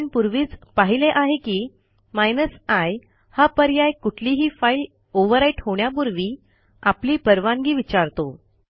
आपण पूर्वीच पाहिले आहे की i हा पर्याय कुठलीही फाईल ओव्हरराईट होण्यापूर्वी आपली परवानगी विचारतो